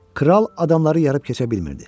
Kral adamları yarıb keçə bilmirdi.